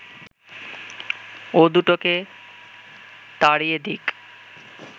ও দুটোকে তাড়িয়ে দিক